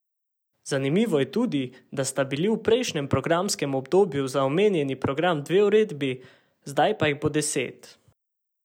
Zanimivo je tudi, da sta bili v prejšnjem programskem obdobju za omenjeni program dve uredbi, zdaj pa jih bo deset.